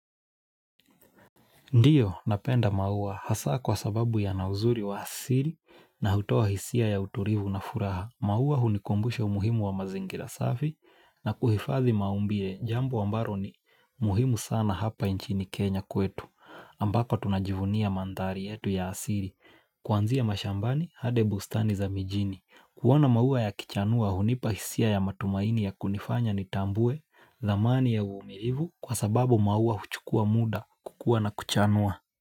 Ndio, napenda maua, hasa kwa sababu yanauzuri wa asiri na hutoa hisia ya uturivu na furaha. Maua hunikumbusha umuhimu wa mazingira safi na kuhifadhi maumbile, jambo ambaro ni muhimu sana hapa inchini Kenya kwetu, ambako tunajivunia mandhari yetu ya asiri. Kwanzia mashambani, hadi bustani za mijini. Kuona maua yakichanua hunipa hisia ya matumaini ya kunifanya nitambue, thamani ya uvumirivu kwa sababu maua huchukua muda kukuwa na kuchanua.